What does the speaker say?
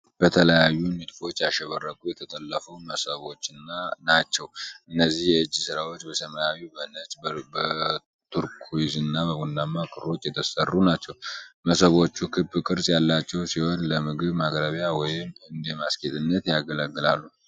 በተለያዩ ንድፎች ያሸበረቁ የተጠለፉ መሶቦችን ናቸው፡፡ እነዚህ የእጅ ሥራዎች በሰማያዊ፣ በነጭ፣ በቱርኩይዝና በቡናማ ክሮች የተሠሩ ናቸው፡፡ መሶቦቹ ክብ ቅርጽ ያላቸው ሲሆን፣ ለምግብ ማቅረቢያ ወይም እንደ ማስጌጫነት ያገለግላሉ፡፡